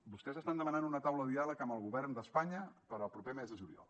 vostès estan demanant una taula de diàleg amb el govern d’espanya per al proper mes de juliol